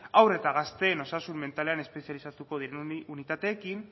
haur eta gazteen osasun mentalean espezializatuko diren unitateekin